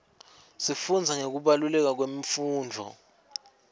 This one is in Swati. sifundza ngekubaluleka kwemfundvo